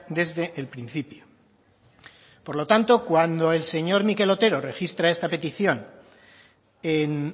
desde el principio por lo tanto cuando el señor mikel otero registra esta petición en